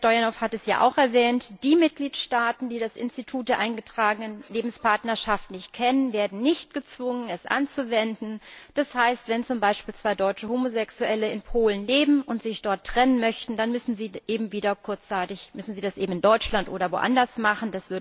Herr Stoyanov hat es ja auch erwähnt, die Mitgliedstaaten, die das Institut der eingetragenen Lebenspartnerschaften nicht kennen, werden nicht gezwungen, es anzuwenden. Das heißt, wenn zum Beispiel zwei deutsche Homosexuelle in Polen leben und sich dort trennen möchten, dann müssen sie das eben in Deutschland oder anderswo machen.